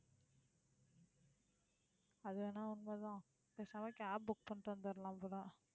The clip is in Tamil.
அது வேணா உண்மைதான். பேசாம cab book பண்ணிட்டு வந்துடலாம் அப்பதான்.